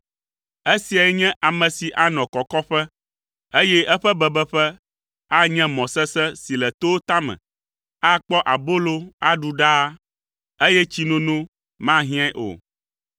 Esiae nye ame si anɔ kɔkɔƒe, eye eƒe bebeƒe anye mɔ sesẽ si le towo tame. Akpɔ abolo aɖu ɖaa, eye tsinono mahiãe o.